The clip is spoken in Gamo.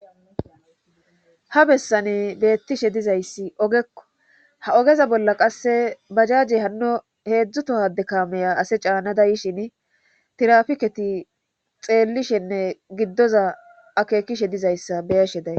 ha bessane beettishe dizayssi ogekko ha ogeza bolla qasse bajajey hanno heedzdzu tohade kaameya ase caannada yishin tirafiketi xeellishenne giddoza akeekishe dizayssa beyeshe day